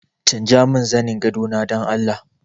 Canjamin zanin gadona dan Allah!